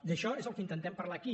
d’això és del que intentem parlar aquí